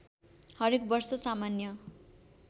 हरेक वर्ष सामान्य